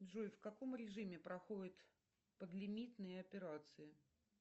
джой в каком режиме проходят подлимитные операции